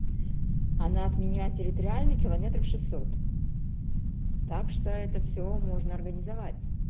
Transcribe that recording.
она от меня территориально километров шестьсот так что это всё можно организовать